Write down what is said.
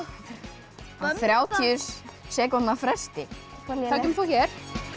þrjátíu sekúndna fresti þá kemur þú hér